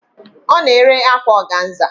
Ọ na-ere akwa ọganza